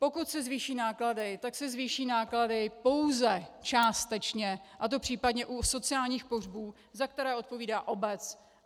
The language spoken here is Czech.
Pokud se zvýší náklady, tak se zvýší náklady pouze částečně, a to případně u sociálních pohřbů, za které odpovídá obec.